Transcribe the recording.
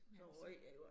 Altså